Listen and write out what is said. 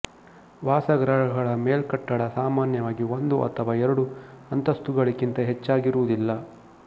ವಾಸಗೃಹಗಳ ಮೇಲ್ಕಟ್ಟಡ ಸಾಮಾನ್ಯವಾಗಿ ಒಂದು ಅಥವಾ ಎರಡು ಅಂತಸ್ತುಗಳಿಗಿಂತ ಹೆಚ್ಚಾಗಿರುವುದಿಲ್ಲ